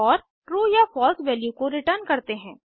और ट्रू या false value को रिटर्न करते हैं